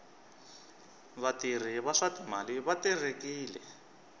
vatirhi va swa timali va terekile